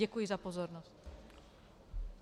Děkuji za pozornost.